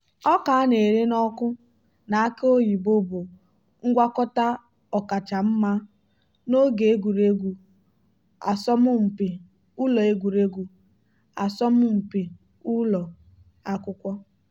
ọka a ṅara n'ọkụ na aki oyibo bụ ngwakọta ọkacha mma n'oge egwuregwu asọmụmpi ụlọ egwuregwu asọmụmpi ụlọ akwụkwọ.